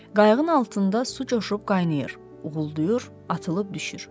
Qayığın altında su coşub qaynayır, uğulduyur, atılıb düşür.